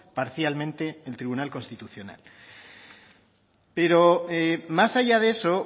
parcialmente el tribunal constitucional pero más allá de eso